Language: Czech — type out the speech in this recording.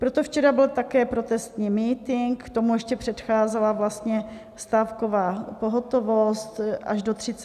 Proto včera byl také protestní mítink, k tomu ještě předcházela vlastně stávková pohotovost až do 30. dubna.